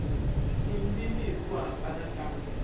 tindzimi hi ku hambana ka